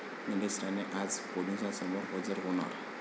निलेश राणे आज पोलिसांसमोर हजर होणार